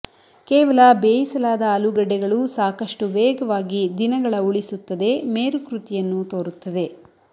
ಕೇವಲ ಬೇಯಿಸಲಾದ ಆಲೂಗಡ್ಡೆಗಳು ಸಾಕಷ್ಟು ವೇಗವಾಗಿ ದಿನಗಳ ಉಳಿಸುತ್ತದೆ ಮೇರುಕೃತಿಯನ್ನು ತೋರುತ್ತದೆ